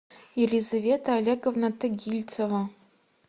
елизавета олеговна тагильцева